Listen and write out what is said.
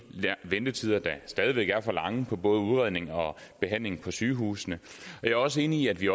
ventetider der stadig væk er for lange på både udredning og behandling på sygehusene jeg også enig i at vi